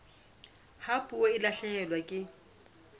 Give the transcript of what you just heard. ha puo e lahlehelwa ke